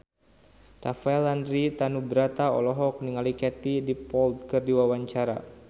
Rafael Landry Tanubrata olohok ningali Katie Dippold keur diwawancara